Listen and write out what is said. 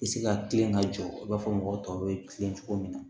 I bɛ se ka kilen ka jɔ i b'a fɔ mɔgɔ tɔw bɛ tilen cogo min na